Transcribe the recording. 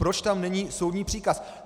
Proč tam není soudní příkaz?